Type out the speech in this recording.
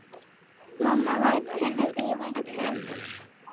Mamma varð öll önnur.